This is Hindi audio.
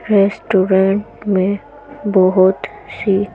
रेस्टोरेंट --